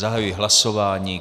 Zahajuji hlasování.